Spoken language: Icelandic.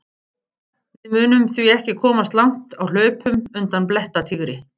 Við mundum því ekki komast langt á hlaupum undan blettatígri!